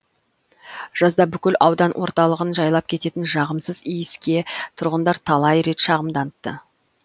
жазда бүкіл аудан орталығын жайлап кететін жағымсыз иіске тұрғындар талай рет шағымданыпты